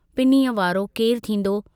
पिनीअ वारो केरु थींदो।